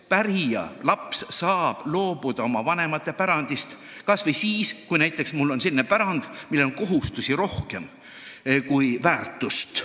Pärija, laps, saab oma vanemate pärandist loobuda näiteks siis, kui pärandiga seotud kohustused ületavad selle väärtuse.